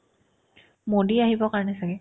মোডী আহিব কাৰণে ছাগে